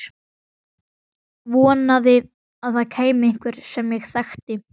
Vonaði að það kæmi einhver sem ég þekkti.